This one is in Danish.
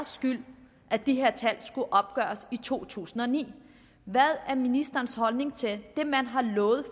skyld at de her tal skulle opgøres i to tusind og ni hvad er ministerens holdning til det man har lovet